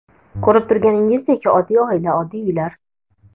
Ko‘rib turganingizdek, oddiy oila, oddiy uylar.